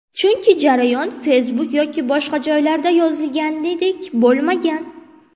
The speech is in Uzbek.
Chunki jarayon Facebook yoki boshqa joylarda yozilganidek bo‘lmagan.